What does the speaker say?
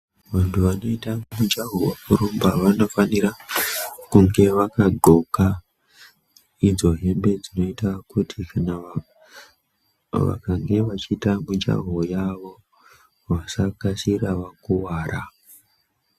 Vantu vanoita mujaho wekurumba vanofanira kunge vakadxoka idzo hembe dzinoita kuti kana vakange vachiita mujaho wavo vasakasira vakuwara.